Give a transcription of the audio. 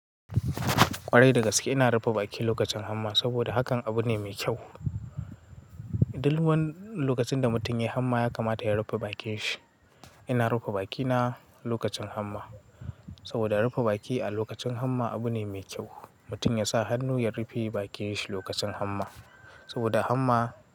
Kwarai dagaske, ina rufe baki lokacin hamma saboda hakan abu ne me kyau. Duk lokacin da mutum ya yi hamma ya kamata ya rufe bakin shi. Ina rufe bakina lokacin hamma saboda rufe baki a lokacin hamma abu ne me kyau. Mutum ya sa hannu ya rufe bakin shi lokacin hamma saboda hamma.